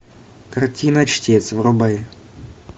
картина чтец врубай